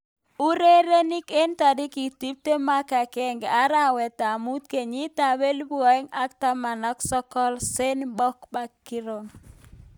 Urerenik eng tarik tiptem agenge arawet ab mut kenyit ab elipu aeng ak taman ak sokol, Sane, Pogba, Batistuta, Giroud.